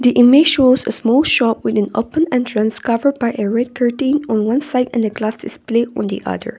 image shows a small shop with an open entrance covered by a red curtain on one side and the glass display on the other.